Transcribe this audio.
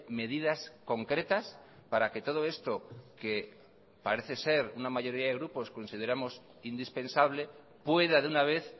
medidas concretas para que todo esto que parece ser una mayoría de grupos consideramos indispensable pueda de una vez